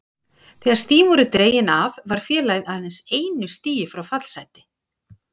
Þegar stigin voru dregin af var félagið aðeins einu stigi frá fallsæti.